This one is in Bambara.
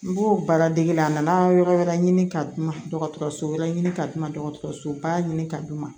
N b'o baara dege la a nana yɔrɔ wɛrɛ ɲini ka d'u ma dɔgɔtɔrɔso wɛrɛ ɲini ka di dɔgɔtɔrɔso ba ɲini ka d'u ma